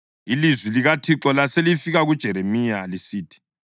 Ilizwi likaThixo laselifika kuJeremiya lisithi: